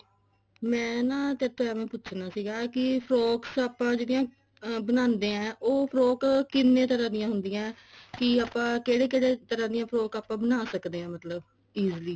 ਮੈਂ ਨਾ ਤੇਰੇ ਤੋਂ ਐਂ ਪੁੱਛਨਾ ਸੀਗਾ ਕਿ frocks ਆਪਾਂ ਜਿਹੜੀਆਂ ਬਣਾਦੇ ਹਾਂ ਉਹ frock ਕਿੰਨੇ ਤਰ੍ਹਾਂ ਦੀਆਂ ਹੁੰਦੀਆਂ ਕਿ ਆਪਾਂ ਕਿਹੜੇ ਕਿਹੜੇ ਤਰ੍ਹਾਂ ਦੀਆਂ frock ਆਪਾਂ ਬਣਾ ਸਕਦੇ ਹਾਂ ਮਤਲਬ easily